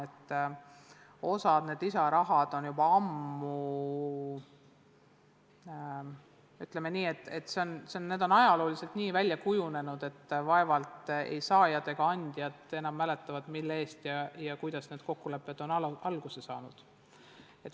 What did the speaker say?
Viidati, et osa lisaraha eraldus on juba ammu, ütleme nii, et ajalooliselt välja kujunenud ning vaevalt saajad ja andjad enam mäletavad, kuidas need kokkulepped on alguse saanud.